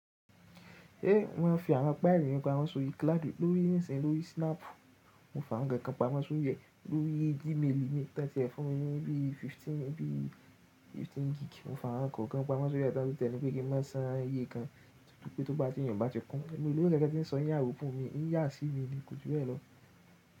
Eh, mo ma fi àwọn páìlì mi pamọ́ sórí cloudu lórí níìsín lórí snap. Mo f’àwọn kankan pamọ́ sórí ẹ̀ lórí Gmaili mi tan tí ẹ fún mi ní bí i 15 gb. Mo fa wọn kọ̀ọ̀kan pamọ́ sórí ẹ tan tún tí ẹ pé kí n má san iye kan tútù pé tó bá ti yun bá ti kún. Èmi o lówo kankan ti n sọ iyawo fún mi, ń yà sí mi ni kò jù bẹ́ẹ̀ lọ.